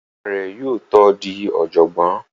Ìyá rẹ̀ yóò tó di ọ̀jọ̀gbọ́n